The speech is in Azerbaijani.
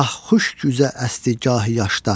Gah xuşk üzə əsdi, gahi yaşda.